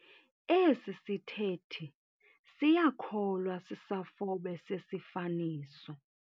Esi sithethi siyakholwa issafobe sesifaniso.